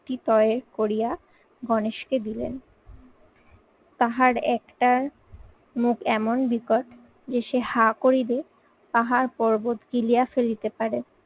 করিয়া গণেশকে দিলেন। তাহার একটার মুখ এমন বিকট যে সে হা করিলে পাহাড় পর্বত গিলিয়ে ফেলিতে পারে।